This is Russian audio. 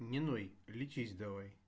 не ной лечись давай